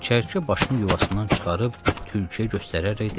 Çəyirtkə başını yuvasından çıxarıb tülküyə göstərərək dedi: